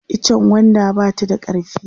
itchen gwanda ba ta da karfi